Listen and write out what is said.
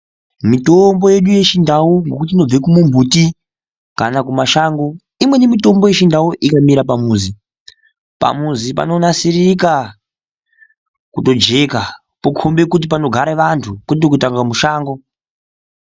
Mitombo yedu yedu yechindau ngekuti inobva kumbiti kana kumashango. Imweni mitombo yechindau ikamera pamuzi, pamuzi panonasirika kutojeka. Pokhomba kuti panogara antu kwete kunga mushango.